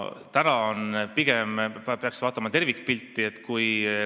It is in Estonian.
Täna peaks vaatama tervikpilti.